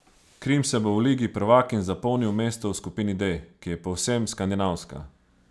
Krim se bo v ligi prvakinj zapolnil mesto v skupini D, ki je povsem skandinavska.